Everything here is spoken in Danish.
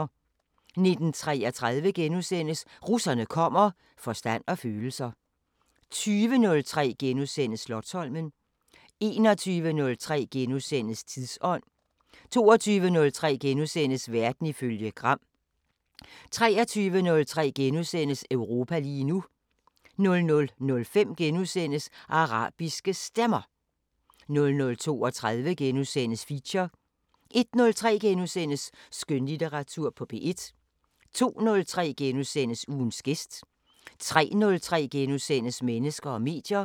19:33: Russerne kommer: "Forstand og følelser" * 20:03: Slotsholmen * 21:03: Tidsånd * 22:03: Verden ifølge Gram * 23:03: Europa lige nu * 00:05: Arabiske Stemmer * 00:32: Feature * 01:03: Skønlitteratur på P1 * 02:03: Ugens gæst * 03:03: Mennesker og medier *